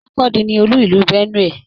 Makurdi ní olú ìlú Benue.